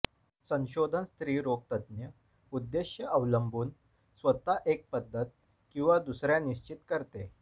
संशोधन स्त्री रोग तज्ज्ञ उद्देश अवलंबून स्वतः एक पद्धत किंवा दुसर्या निश्चित करते